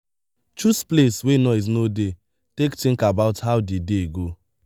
choose place wey noise no dey take think about how di day go